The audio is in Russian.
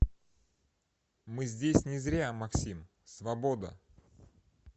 мы здесь не зря максим свобода